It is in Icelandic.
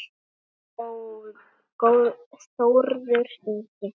Þinn Þórður Ingi.